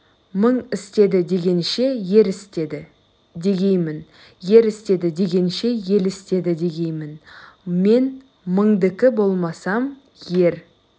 мың істеді дегенше ер істеді дегеймін ер істеді дегенше ел істеді дегеймін мен мыңдікі болмасам ер